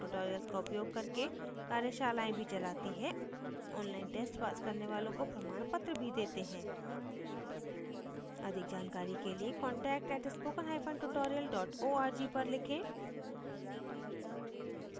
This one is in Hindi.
spoken tutorial का उपयोग करके कार्यशालाएँ भी चलाती है online test pass करने वालों को प्रमाणपत्र भी details हैं अधिक जानकारी के लिए contact @spoken hyphen tutorial dot org पर लिखें